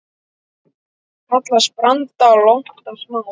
Kallast branda lonta smá.